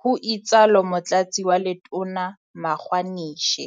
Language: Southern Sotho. ho itsalo Motlatsi wa Letona Magwa nishe.